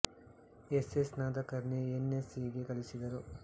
S S Nadkarni N S E ಗೆ ಕಳುಹಿಸಿದರು